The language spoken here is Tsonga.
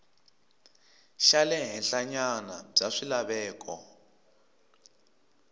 xa le henhlanyana bya swilaveko